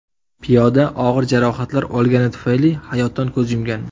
Piyoda og‘ir jarohatlar olgani tufayli hayotdan ko‘z yumgan.